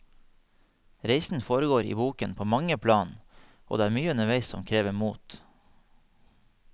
Reisen foregår i boken på mange plan, og det er mye underveis som krever mot.